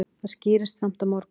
Það skýrist samt á morgun.